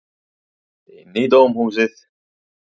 Inn í dómhúsið.